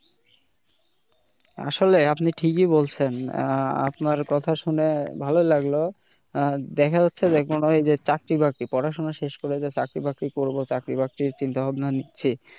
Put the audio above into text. আসলে আপনি ঠিকই বলছেন আহ আপনার কথা শুনে ভালো লাগলো আহ দেখা যাচ্ছে এখন ঐ যে চাকরি-বাকরি পড়াশোনা শেষ করে যে চাকরি বাকরি করবো চাকরি-বাকরি চিন্তাভাবনা নিছি।